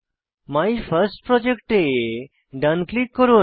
my first project এ ডান click করুন